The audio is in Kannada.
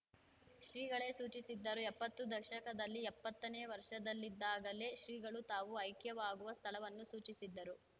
ಶ್ರೀಗಳೇ ಸೂಚಿಸಿದ್ದರು ಎಪ್ಪತ್ತು ದಶಕದಲ್ಲಿ ಎಪ್ಪತ್ತನೇ ವರ್ಷದಲ್ಲಿದ್ದಾಗಲೇ ಶ್ರೀಗಳು ತಾವು ಐಕ್ಯವಾಗುವ ಸ್ಥಳವನ್ನು ಸೂಚಿಸಿದ್ದರು